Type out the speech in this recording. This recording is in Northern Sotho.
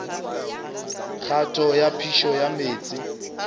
kgato ya phišo ya meetse